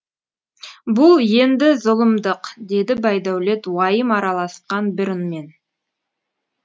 бұл енді зұлымдық деді байдәулет уайым араласқан бір үнмен